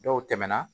Dɔw tɛmɛna